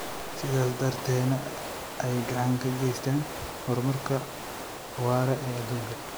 sidaas darteedna ay gacan ka geystaan ??horumarka waara ee adduunka.